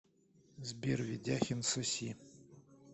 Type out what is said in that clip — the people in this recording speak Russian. сбер ведяхин соси